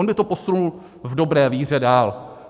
On by to posunul v dobré víře dál.